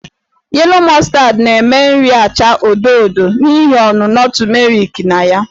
Yellow Mustard na-eme nri achaa odo odo n'ihi ọnụnọ tumeriki na ya.